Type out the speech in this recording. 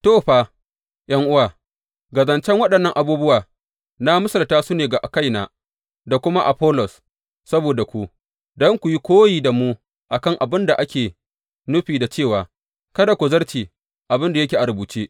To, fa ’yan’uwa, ga zancen waɗannan abubuwa, na misalta su ne ga kaina, da kuma Afollos saboda ku, don ku yi koyi da mu a kan abin da ake nufi da cewa, Kada ku zarce abin da yake a rubuce.